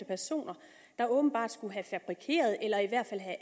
personer der åbenbart skulle have fabrikeret eller i hvert fald have